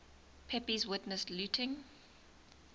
pepys witnessed looting